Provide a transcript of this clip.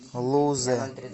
лузе